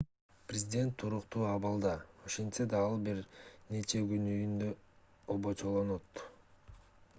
президент туруктуу абалда ошентсе да ал бир нече күн үйүндө обочолонот